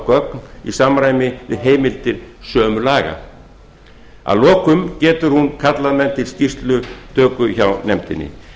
gögn í samræmi við heimildir sömu laga að lokum getur hún kallað menn til skýrslutöku hjá nefndinni